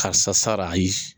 Karisa sara yi